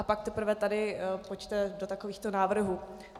A pak teprve tady pojďte do takovýchto návrhů.